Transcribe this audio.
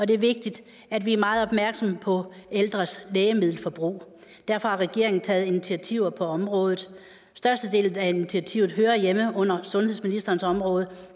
det er vigtigt at vi er meget opmærksomme på ældres lægemiddelforbrug derfor har regeringen taget initiativer på området størstedelen af initiativerne hører hjemme under sundhedsministerens område